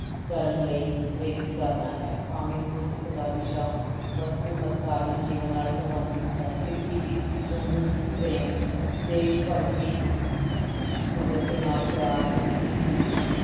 ਕਰਨ ਲਈ ਪ੍ਰੇਰਿਤ ਕਰਨਾ ਹੈ, ਭਾਵੇਂ ਇਸ ਪੁਸਤਕ ਦਾ ਵਿਸ਼ਾ ਵਸਤੂ ਮੱਧਕਾਲੀਨ ਜੀਵਨ ਨਾਲ ਸੰਬੰਧਿਤ ਹੈ ਫਿਰ ਵੀ ਇਸ ਵਿੱਚੋਂ ਮਨੁੱਖੀ ਪ੍ਰੇਮ ਦੇਸ ਭਗਤੀ ਕੁਦਰਤ ਨਾਲ ਪਿਆਰ ਤੇ ਇਟਲੀ ਵਿੱਚ